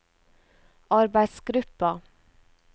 arbeidsgruppa